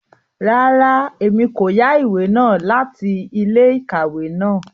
Rárá, Èmí ko yá ìwé náà láti ilé-íkàwe náà